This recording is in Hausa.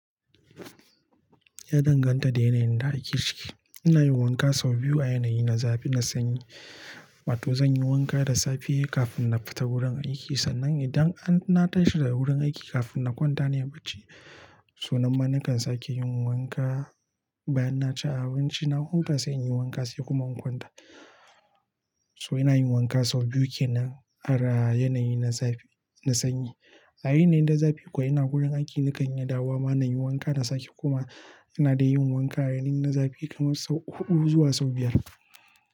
Ya danganta da yanayin da ake ciki. Ina yin wanka sau biyu a yanayi na zafi na sanyi. Wato zan yi wanka da safe kafin na fita wurin aiki sannan idan an na tashi daga wurin aiki kafin na kwanta ne bacci. So nan ma nakan sake yin wanka bayan na ci abinci. Na huta sai inyi wanka sai kuma in kwanta. So ina yin wanka sau biyu kenan a ra yanayi na zafi na sanyi. A yanayin da zafi kuwa ina wurin aiki, na kan yi ɗawa ma na yin wanka da safe kuma ina dai yin wanka a yanayi na zafi kamar sau huɗu zuwa sau biyar.